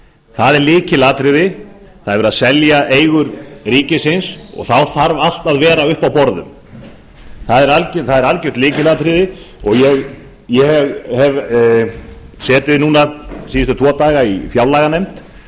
það er lykilatriði það er verið að selja eigur ríkisins og þá þarf allt að vera uppi á borðum ég hef setið síðustu tvo daga í fjárlaganefnd